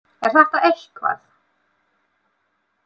Er þetta eitthvað?